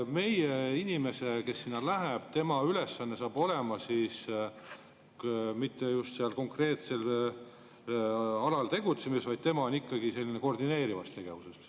Meie inimese ülesanne seal saab olema mitte just seal konkreetsel alal tegutsemine, vaid tema on ikkagi koordineerivas tegevuses.